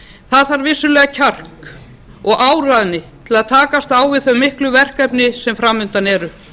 það þarf vissulega kjark og áræðni til að takast á við þau miklu verkefni sem fram undan eru